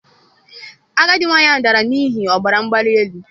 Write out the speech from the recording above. Agadi nwanyị ahụ dara n'ihi ọbara mgbali elu